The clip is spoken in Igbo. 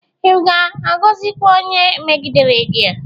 Ịvga-agọzịkwa onye a megidere gi?